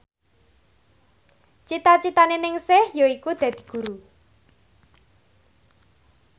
cita citane Ningsih yaiku dadi guru